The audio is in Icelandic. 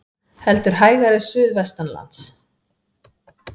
Heldur hægari suðvestanlands